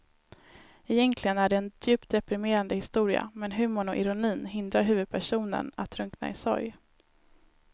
Egentligen är det en djupt deprimerande historia men humorn och ironin hindrar huvudpersonen att drunkna i sorg.